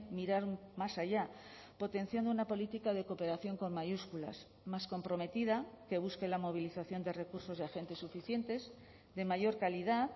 mirar más allá potenciando una política de cooperación con mayúsculas más comprometida que busque la movilización de recursos y agentes suficientes de mayor calidad